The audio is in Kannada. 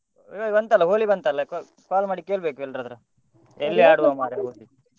ಬಂತಲ್ಲ ಹೋಳಿ ಬಂತಲ್ಲ call ಮಾಡಿಕೇಳ್ಬೇಕು ಎಲ್ಲರತ್ರ ಮರ್ರೆ ಹೋಳಿ.